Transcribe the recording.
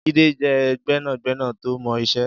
Jide jẹ̀ gbẹ̀nágbẹ̀ná tó mọ iṣè